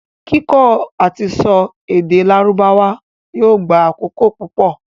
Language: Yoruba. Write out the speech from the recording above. Kíkọ́ àtisọ èdè lárùbáwá yóò gba àkókò púpọ̀.